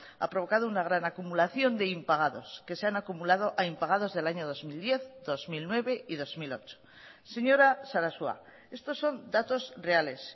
ha provocado una gran acumulación de impagados que se han acumulado a impagados del año dos mil diez dos mil nueve y dos mil ocho señora sarasua estos son datos reales